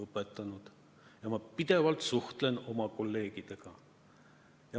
Ma suhtlen pidevalt oma kolleegidega.